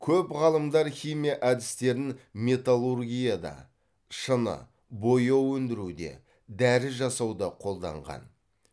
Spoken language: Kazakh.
көп ғалымдар химия әдістерін металлургияда шыны бояу өндіруде дәрі жасауда қолданған